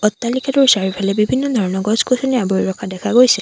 অট্টালিকাটোৰ চাৰিওফালে বিভিন্ন ধৰণৰ গছ-গছনিয়ে আৱৰি ৰখা দেখা গৈছে।